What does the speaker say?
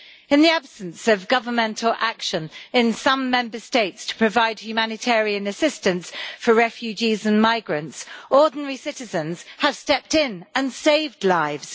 In the absence of governmental action in some Member States to provide humanitarian assistance for refugees and migrants, ordinary citizens have stepped in and saved lives.